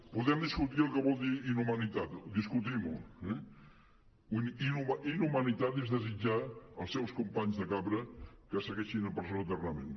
podem discutir el que vol dir inhumanitat discutim ho eh inhumanitat és desitjar als seus companys de cambra que segueixin en presó eternament